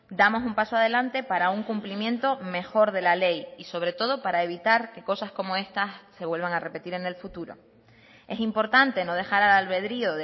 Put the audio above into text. damos un paso adelante para un cumplimiento mejor de la ley y sobre todo para evitar que cosas como estas se vuelvan a repetir en el futuro es importante no dejar al albedrío